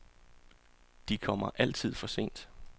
De kommer altid for sent.